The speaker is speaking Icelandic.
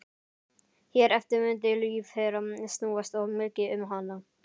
Hér eftir mundi líf þeirra snúast of mikið um hana.